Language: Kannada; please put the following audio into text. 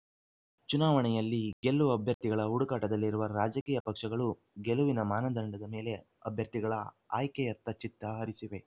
ಚುನಾವಣೆಯಲ್ಲಿ ಗೆಲ್ಲುವ ಅಭ್ಯರ್ಥಿಗಳ ಹುಡುಕಾಟದಲ್ಲಿರುವ ರಾಜಕೀಯ ಪಕ್ಷಗಳು ಗೆಲುವಿನ ಮಾನದಂಡದ ಮೇಲೆ ಅಭ್ಯರ್ಥಿಗಳ ಆಯ್ಕೆಯತ್ತ ಚಿತ್ತ ಹರಿಸಿವೆ